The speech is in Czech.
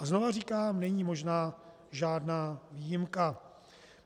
A znovu říkám, není možná žádná výjimka.